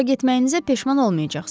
Ora getməyinizə peşman olmayacaqsız.